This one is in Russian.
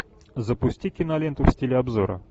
запусти киноленту в стиле обзора